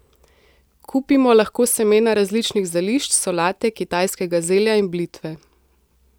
Kupimo lahko semena različnih zelišč, solate, kitajskega zelja in blitve.